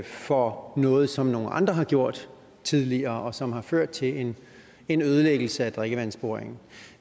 for noget som nogle andre har gjort tidligere og som har ført til en en ødelæggelse af drikkevandsboringen